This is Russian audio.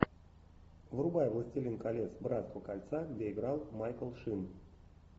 врубай властелин колец братство кольца где играл майкл шин